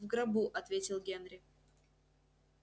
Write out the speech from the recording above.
в гробу ответил генри